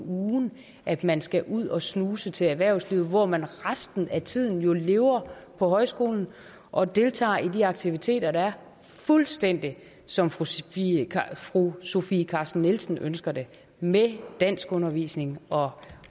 ugen at man skal ud og snuse til erhvervslivet hvor man resten af tiden jo lever på højskolen og deltager i de aktiviteter der er fuldstændig som fru sofie fru sofie carsten nielsen ønsker det med danskundervisning og